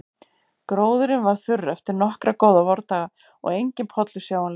Gróðurinn var þurr eftir nokkra góða vordaga og enginn pollur sjáanlegur.